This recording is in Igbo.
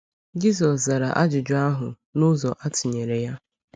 Jisọs zara ajụjụ ahụ n’ụzọ atụnyere ya.